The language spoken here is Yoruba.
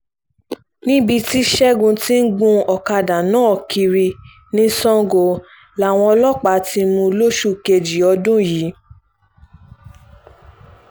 níbi tí ṣẹ́gun ti ń gun ọ̀kadà náà kiri ní sango làwọn ọlọ́pàá ti mú un lóṣù kejì ọdún yìí